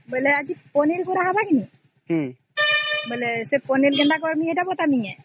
ସେଇ ପନିର ଗୁଡ଼ାକୁହିଁ .ପନିର କୁ କାଟିଦେବା